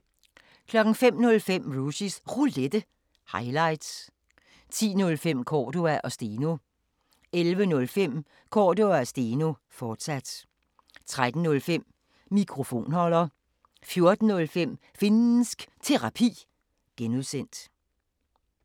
05:05: Rushys Roulette – highlights 10:05: Cordua & Steno 11:05: Cordua & Steno, fortsat 13:05: Mikrofonholder 14:05: Finnsk Terapi (G)